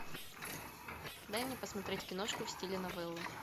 дай мне посмотреть киношку в стиле новеллы